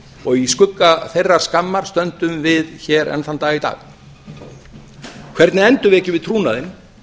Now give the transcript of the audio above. og í skugga þeirrar skammar stöndum við hér enn þann dag í dag hvernig endurvekjum við trúnaðinn